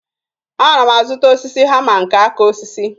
Ana m azụta hama nke aka osisi